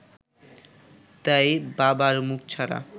তাই বাবার মুখ ছাড়া